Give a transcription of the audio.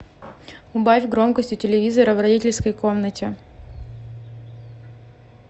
убавь громкость у телевизора в родительской комнате